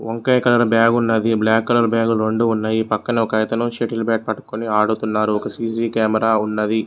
వంకాయ colour bag ఉన్నది black colour బ్యాగులు రెండు ఉన్నాయి పక్కన సెటిల్ బ్యాట్ పట్టుకొని ఆడుతున్నారు సీ_సీ కెమెరా ఉన్నది.